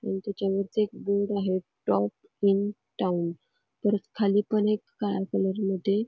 त्याच्यावरती बोर्ड आहे top in town परत खाली एक काळया कलर मध्ये--